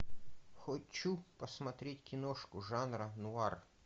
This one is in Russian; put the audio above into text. хочу посмотреть киношку жанра нуар